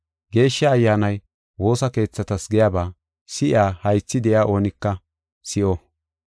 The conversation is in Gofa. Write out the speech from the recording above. Geeshsha Ayyaanay woosa keethatas giyaba si7iya haythi de7iya oonika si7o.